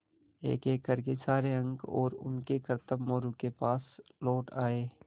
एकएक कर के सारे अंक और उनके करतब मोरू के पास लौट आये